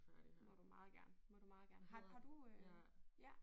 Må du meget gerne må du meget gerne. Har har du øh ja